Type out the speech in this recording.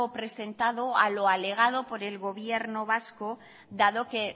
presentado a lo alegado por el gobierno vasco dado que